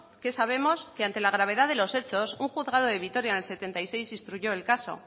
sabemos que ante la gravedad de los hechos un juzgado de vitoria en el setenta y seis instruyó el caso